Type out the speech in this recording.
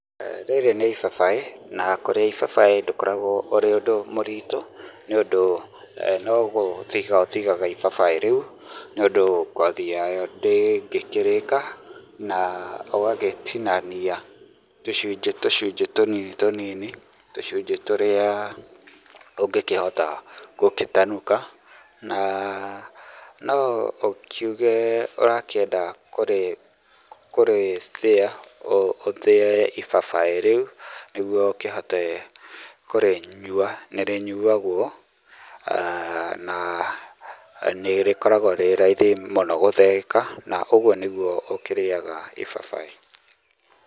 Rĩrĩ nĩ ibabaĩ, na kũrĩa ibabaĩ ndũkoragwo ũrĩ ũndũ mũritũ, nĩũndũ no gũthiga ũthigaga ibabaĩ rĩu, nĩũndũ ngothi yayo ndĩngĩkĩrĩka, na ũgagĩtinania tũcunjĩ tũcunjĩ tũnini tũnini, tũcunjĩ tũrĩa ũngĩkĩhota gũkĩtanuka, na no ũkiuge ũrakĩenda kũrĩthĩa, ũthĩe ibabaĩ rĩu nĩguo ũkĩhote kũrĩnyua, nĩrĩnyuagwo na nĩrĩkoragwo rĩ raithi mũno gũthĩĩka, na ũguo nĩguo ũkĩrĩaga ibabaĩ